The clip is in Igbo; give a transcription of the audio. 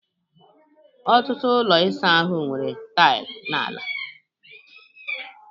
ọtụtụ ụlọ ịsa ahụ nwere taịlị n'ala